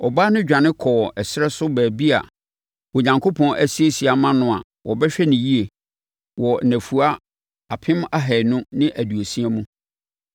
Ɔbaa no dwane kɔɔ ɛserɛ so baabi a Onyankopɔn asiesie ama no a wɔbɛhwɛ no yie wɔ nnafua apem ahanu ne aduosia mu.